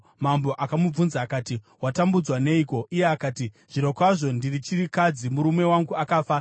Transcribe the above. Mambo akamubvunza akati, “Watambudzwa neiko?” Iye akati, “Zvirokwazvo ndiri chirikadzi; murume wangu akafa.